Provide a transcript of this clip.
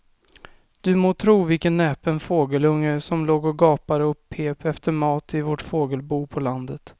Du må tro vilken näpen fågelunge som låg och gapade och pep efter mat i vårt fågelbo på landet.